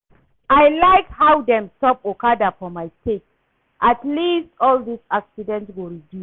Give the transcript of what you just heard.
I like how dem stop okada for my state at least all dis accident go reduce